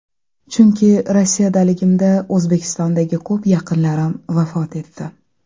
Chunki Rossiyadaligimda O‘zbekistondagi ko‘p yaqinlarim vafot etdi.